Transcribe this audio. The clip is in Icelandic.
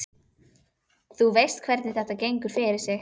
Þú veist hvernig þetta gengur fyrir sig.